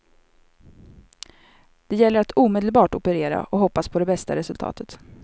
Det gällde att omedelbart operera och hoppas på det bästa resultatet.